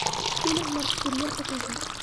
фильм наркокурьер покажи